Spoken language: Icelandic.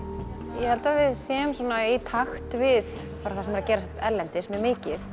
ég held að við séum í takt við það sem er að gerast erlendis mjög mikið